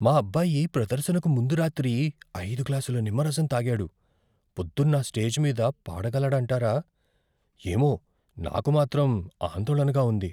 మా అబ్బాయి ప్రదర్శనకు ముందు రాత్రి ఐదు గ్లాసుల నిమ్మరసం తాగాడు, పొద్దున్న స్టేజిపై పాడగలడంటారా? ఏమో! నాకు మాత్రం ఆందోళనగా ఉంది.